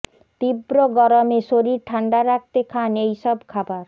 তীব্র গরমে শরীর ঠান্ডা রাখতে খান এই সব খাবার